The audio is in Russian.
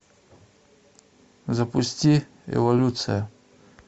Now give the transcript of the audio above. запусти эволюция